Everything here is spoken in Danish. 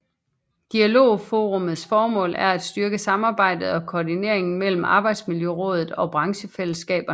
Dialogforummets formål er at styrke samarbejdet og koordineringen mellem Arbejdsmiljørådet og branchefællesskaberne